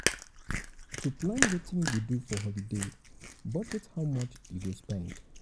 to plan wetin you go do for holiday budget how much you go spend